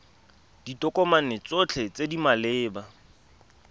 ditokomane tsotlhe tse di maleba